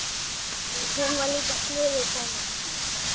Hún var líka sniðug kona.